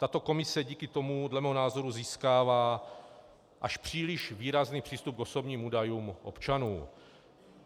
Tato komise díky tomu dle mého názoru získává až příliš výrazný přístup k osobním údajům občanů.